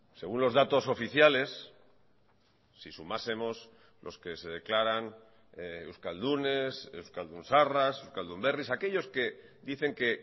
según los datos oficiales si sumásemos los que se declaran euskaldunes euskaldun zaharras euskaldunberris aquellos que dicen que